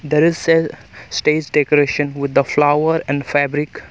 There is cell stage decoration with the flower and fabric.